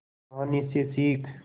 कहानी से सीख